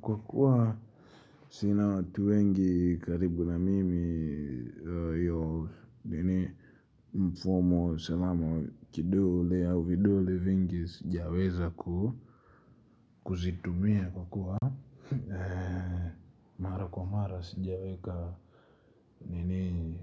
Kwa kuwa sina watu wengi karibu na mimi hio nini mfumo wa usalama wa kidole au vidule vingi sijaweza kuzitumia kwa kuwa mara kwa mara sijaweka nini